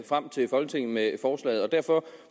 frem til folketinget med forslaget derfor